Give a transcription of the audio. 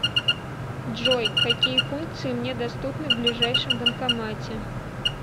джой какие функции мне доступны в ближайшем банкомате